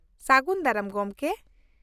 ᱥᱟᱹᱜᱩᱱ ᱫᱟᱨᱟᱢ ᱜᱚᱝᱠᱮ ᱾